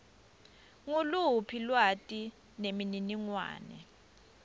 nguluphi lwati nemininingwane